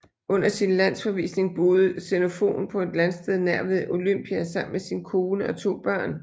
Under sin landsforvisning boede Xenofon på et landsted nær ved Olympia sammen med sin kone og to børn